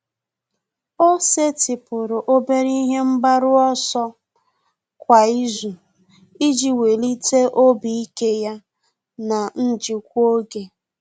Ọ́ sètị́pụ̀rụ̀ obere ihe mgbaru ọsọ kwa ìzù iji wèlíté obi ike ya na njikwa oge.